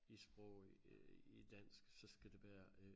I sprog øh i dansk så skal det være øh